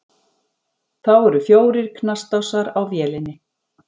Þá eru fjórir knastásar á vélinni.